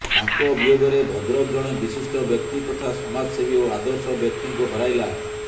ତାଙ୍କ ବିୟୋଗରେ ଭଦ୍ରକ ଜଣେ ବିଶିଷ୍ଟ ବ୍ୟକ୍ତି ତଥା ସମାଜସେବୀ ଓ ଆଦର୍ଶ ବ୍ୟକ୍ତିଙ୍କୁ ହରାଇଲା